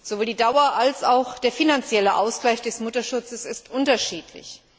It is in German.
Sowohl die Dauer als auch der finanzielle Ausgleich des Mutterschutzes sind unterschiedlich.